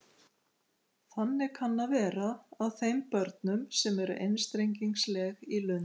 Þannig kann að vera að þeim börnum sem eru einstrengingsleg í lund.